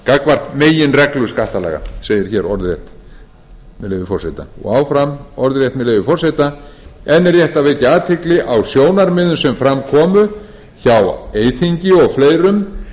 gagnvart meginreglu skattalaga segir hér orðrétt með leyfi forseta áfram orðrétt með leyfi forseta enn er rétt að vekja athygli á sjónarmiðum sem fram komu hjá eyþingi og fleirum